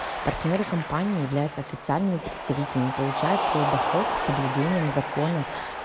партнёры компании являются официальными представителями получает свой доход с соблюдением закона